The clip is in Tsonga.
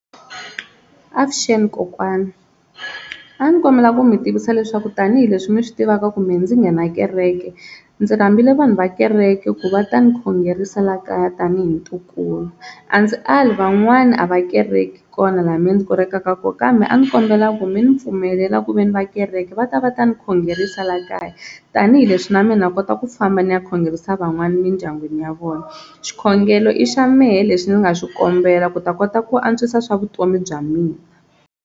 Avuxeni kokwani a ni kombela ku mi tivisa leswaku tanihileswi mi swi tivaka kumbe ndzi nghena kereke ndzi rhambile vanhu va kereke ku va ta ni khongerisa la kaya tanihi ntukulu, a ndzi ali van'wani a va kereki kona laha mina ndzi kerekaka kona kambe a ndzi kombela ku mi ni pfumelela ku ve ni va kereke va ta va ta ni khongerisa la kaya tanihileswi na mehe na kota ku famba ni ya khongerisa van'wana emindyangwini ya vona, xikhongelo i xa mehe leswi ndzi nga xi kombela ku ta kota ku antswisa swa vutomi bya mina.